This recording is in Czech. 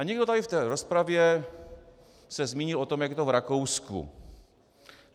A někdo tady v té rozpravě se zmínil o tom, jak je to v Rakousku.